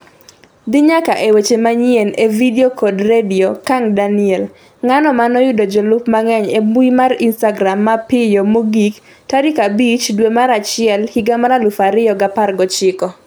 dhi nyaka e weche manyien e vidio kod redio Kang Daniel: Ng'ano manoyudo jolup mang'eny e mbui mar Instagram mapiyo mogik 5 dwe mar achiel higa mar 2019